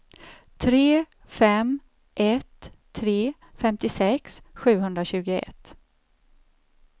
tre fem ett tre femtiosex sjuhundratjugoett